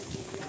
Yaxşı bura.